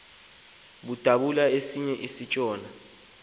udabula esiya kutshona